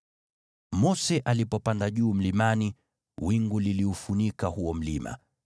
Mose alipopanda juu mlimani, wingu liliufunika huo mlima,